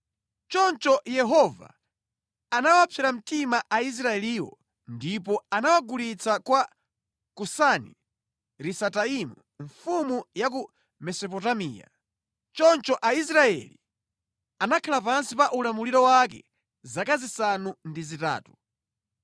Choncho Yehova anawapsera mtima Aisraeliwo ndipo anawagulitsa kwa Kusani-Risataimu mfumu ya ku Mesopotamiya. Choncho Aisraeli anakhala pansi pa ulamuliro wake zaka zisanu ndi zitatu.